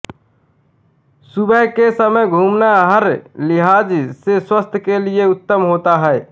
सुबह के समय घूमना हर लिहाज से स्वास्थ्य के लिए उत्तम होता है